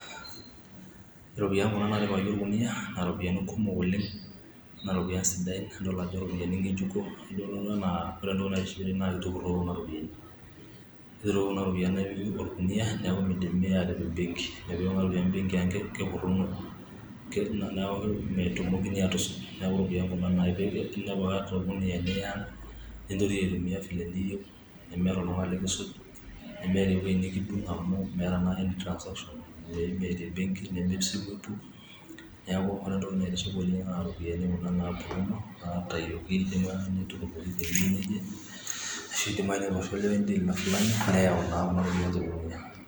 iropiyiani kuna naatipikaki orkuniyia naa iropiyiani sidai idol ajo king'ejuko, ore entoki naatiship naa kitururoki kuna ropiyiani amu iropiyiani kuna napuruno, neeku metumokini aatipik ebengi neeku iropiyiani kuna nintoriyioi atumiya enaa eniyieu nemeeta oltung'ani likisuj, nemeeta eweji nikidung' amu meeta naa any transactions ,amu ime tebengi ,neeku ore entoki naa tiship oleng naa iropiyiani kuna naapuruno ashu inaitayioki teweji neje.